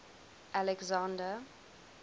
alexander